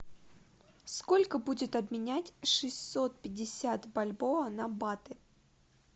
сколько будет обменять шестьсот пятьдесят бальбоа на баты